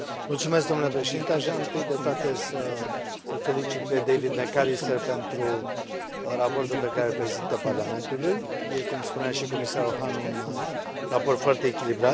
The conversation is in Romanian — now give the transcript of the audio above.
Domnule președinte, aș vrea întâi de toate să îl felicit pe David McAllister pentru raportul pe care îl prezintă Parlamentului. Este, cum spunea și comisarul Hahn, un raport foarte echilibrat.